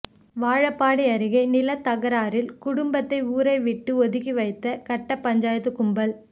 வாழப்பாடி அருகே நிலத்தகராறில் குடும்பத்தை ஊரை விட்டு ஒதுக்கி வைத்த கட்டப்பஞ்சாயத்து கும்பல்